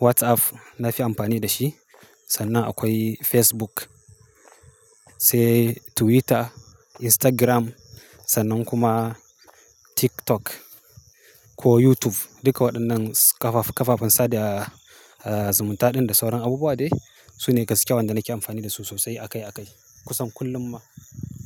WhatsApp na fi amfani da shi. Sannan akwai Facebook, sai Twitter, Instagram sannan kuma TikTok ko YouTube. Duka waɗannan kafafen sada zumunta ɗin da sauran abubuwa dai su ne gaskiya wanda nake amfani da su sosai akai akai kusan kullum ma.